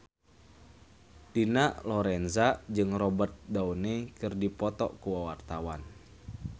Dina Lorenza jeung Robert Downey keur dipoto ku wartawan